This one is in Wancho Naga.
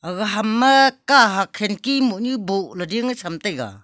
gaga ham ma kahak khirki mohnu boh ley ding tham taiga.